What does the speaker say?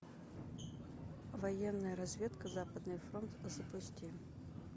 военная разведка западный фронт запусти